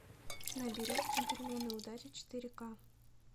набери джентльмены удачи четыре ка